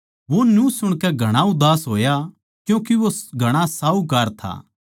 वो न्यू सुणकै घणा उदास होया क्यूँके वो घणा साहूकार था